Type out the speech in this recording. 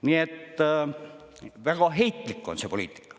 Nii et, väga heitlik on see poliitika.